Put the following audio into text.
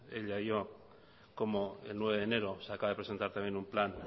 ella y yo cómo el nueve de enero se acaba de presentar también un plan